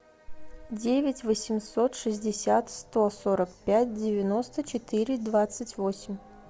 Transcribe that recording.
девять восемьсот шестьдесят сто сорок пять девяносто четыре двадцать восемь